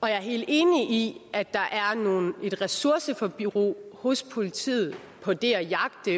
jeg er helt enig i at der er et ressourceforbrug hos politiet på det at jagte